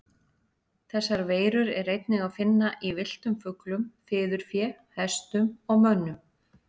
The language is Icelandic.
Þessar veirur er einnig að finna í villtum fuglum, fiðurfé, hestum og mönnum.